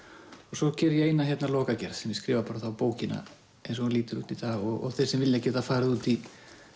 svo geri ég eina lokagerð sem ég skrifa bókina eins og hún lítur út í dag og þeir sem vilja geta farið út í